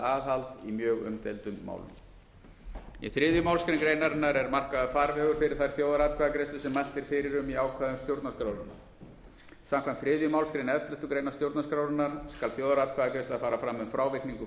aðhald í mjög umdeildum málum í þriðju málsgrein greinarinnar er markaður farvegur fyrir þær þjóðaratkvæðagreiðslur sem mælt er fyrir um í ákvæðum stjórnarskrárinnar samkvæmt þriðju málsgrein elleftu grein stjórnarskrárinnar skal þjóðaratkvæðagreiðsla fara fram um frávikningu